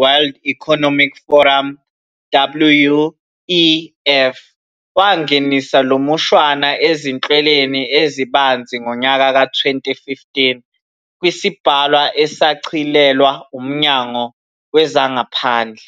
"World Economic Forum, WEF,", wangenisa lomushwana ezihlweleni ezibanzi ngonyaka ka- 2015 kwisibhalwa esashicilelwa uMnyango wezangaphandle.